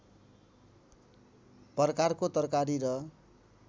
प्रकारको तरकारी र